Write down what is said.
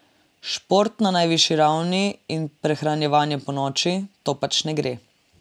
Šport na najvišji ravni in prehranjevanje ponoči, to pač ne gre.